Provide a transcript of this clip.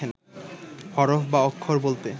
হরফ বা অক্ষর বলতে